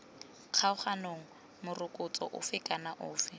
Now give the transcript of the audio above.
kgaoganang morokotso ofe kana ofe